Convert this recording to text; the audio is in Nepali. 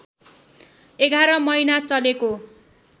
११ महिना चलेको